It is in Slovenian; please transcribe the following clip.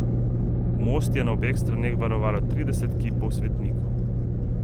Most je na obeh straneh varovalo trideset kipov svetnikov.